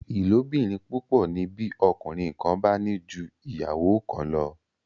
ìlóbìrin púpọ ni bí ọkùnrin kán bá ní jù ìyàwó kán lọ